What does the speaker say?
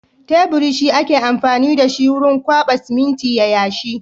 Teburi shi ake amfani da shi wurin kwaɓa siminti ya yashi.